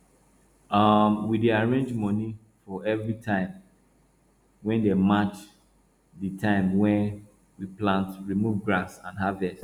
um we dey arrange money for every time wey dey match di time wey we plant remove grass and harvest